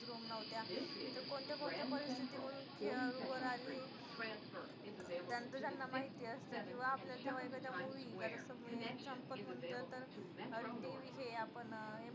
room नव्हत्या तर कोणत्या कोणत्या परिस्थिती मधून खेळाडू वर आले, हे त्याचं त्यांना माहीती असतं किंवा आपलं जेव्हा एखादी movie जसं की example म्हटलं तर ते विषयी TV हे आपण